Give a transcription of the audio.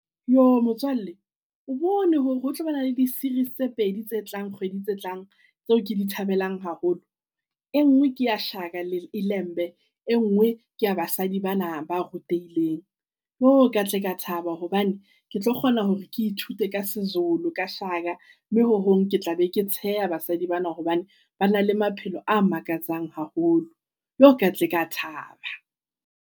Motswalle o bone hore ho tlo ba na le di-series tse pedi tse tlang kgwedi tse tlang tseo ke di thabelang haholo. E ngwe ke ya Shaka Ilembe. E ngwe ke ya basadi bana ba rutehileng, ka tle ke a thaba. Hobane ke tlo kgona hore ke ithute ka seZulu ka Shaka. Mme ho hong ke tla be ke tsheha basadi bana hobane ba na le maphelo a makatsang haholo. Ka tle ka thaba.